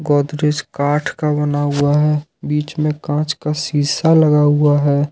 गोदरेज काठ का बना हुआ है बीच में कांच का शीशा लगा हुआ है।